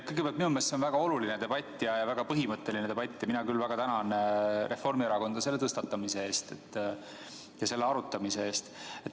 Kõigepealt, minu meelest on see väga oluline ja põhimõtteline debatt ning mina küll väga tänan Reformierakonda selle teema tõstatamise ja arutamise eest.